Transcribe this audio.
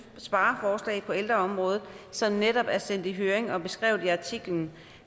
spareforslag på ældreområdet som netop er sendt i høring og er beskrevet i artiklen